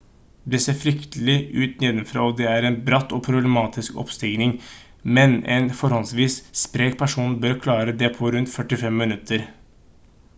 det ser fryktelig ut nedenfra og det er en bratt og problematisk oppstigning men en forholdsvis sprek person bør klare det på rundt 45 minutter